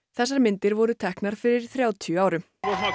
þessar myndir voru teknar fyrir þrjátíu árum